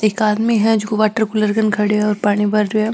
एक आदमी है जको वाटर कूलर के कन्ने खड़यो है और पानी भर रहो है।